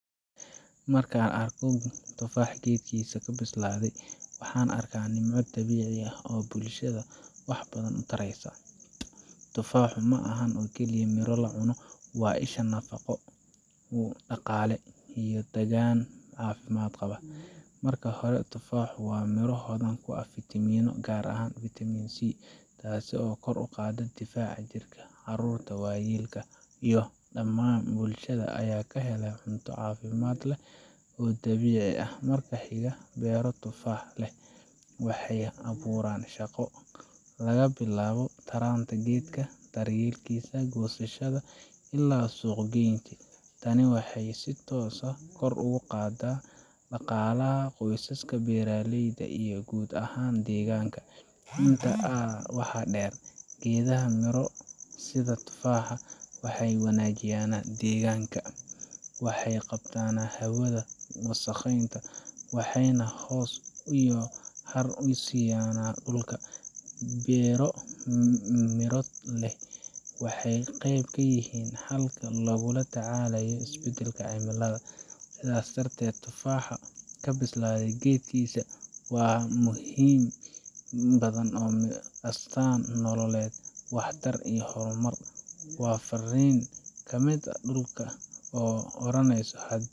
Markaan arko tufaax geedkiisa ka bislaaday, waxaan arkayaa nimco dabiici ah oo bulshada wax badan u taraysa. Tufaaxu ma aha oo keliya miro la cuno – waa isha nafaqo, dhaqaale, iyo deegaan caafimaad qaba. Marka hore, tufaaxu waa miro hodan ku ah fiitamiino, gaar ahaan Vitamin C, taasoo kor u qaadda difaaca jirka. Carruurta, waayeelka, iyo dhammaan bulshada ayaa ka helaya cunto caafimaad leh oo dabiici ah. Marka xiga, beero tufaax leh waxay abuuraan shaqo laga bilaabo taranta geedka, daryeelkiisa, goosashada, ilaa suuq geynta. Tani waxay si toos ah kor ugu qaaddaa dhaqaalaha qoysaska beeraleyda iyo guud ahaan deegaanka. Intaa waxaa dheer, geedaha miro sida tufaaxa waxay wanaajiyaan deegaanka waxay qabtaan hawada wasakhaysan, waxayna hoos iyo har u siiyaan dhulka. Beero miro leh waxay qeyb ka yihiin xalalka lagula tacaalayo isbedbedelka cimilada. Sidaas darteed, tufaax ka bislaaday geedkiisa waa wax ka badan miro waa astaan nololeed, waxtar iyo horumar. Waa fariin ka timid dhulka oo oranaysa.